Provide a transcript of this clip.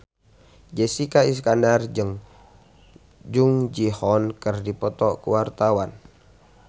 Jessica Iskandar jeung Jung Ji Hoon keur dipoto ku wartawan